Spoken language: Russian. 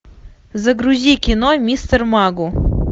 загрузи кино мистер магу